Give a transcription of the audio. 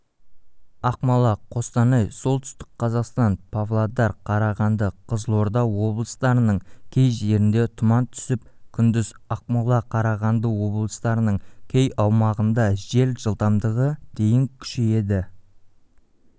ақмола қостанай солтүстік қазақстан павлодар қарағанды қызылорда облыстарының кей жерінде тұман түсіп күндіз ақмола қарағанды облыстарының кей аумағындажел жылдамдығы дейін күшейеді